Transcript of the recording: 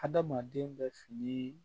Adamaden bɛ fini